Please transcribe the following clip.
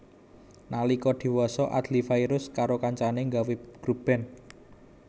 Nalika diwasa Adly Fairuz karo kanca kancané nggawé grup band